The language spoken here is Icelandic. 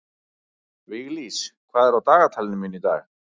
Viglís, hvað er á dagatalinu mínu í dag?